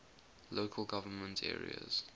local government areas